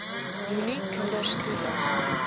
moenie kinders toelaat